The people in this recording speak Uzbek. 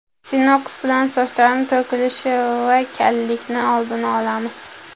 Sinox bilan soch to‘kilishi va kallikning oldini olamiz.